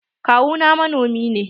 Kawu na manomi ne.